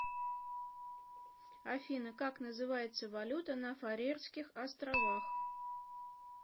афина как называется валюта на фарерских островах